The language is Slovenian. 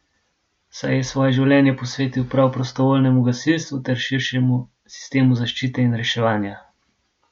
Saj je svoje življenje posvetil prav prostovoljnemu gasilstvu ter širšemu sistemu zaščite in reševanja!